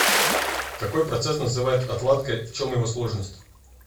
какой процесс называют отладкой в чем его сложность